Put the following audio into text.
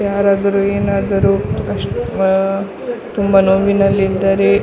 ಯಾರಾದರೂ ಏನಾದರೂ ಆಹ್ಹ್ ತುಂಬಾ ನೋವಿನಲ್ಲಿ ಇದ್ದರೆ --